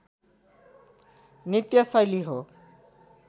नृत्य शैली हो